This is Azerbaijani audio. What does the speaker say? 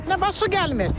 Niyə su gəlmir?